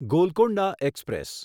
Golconda express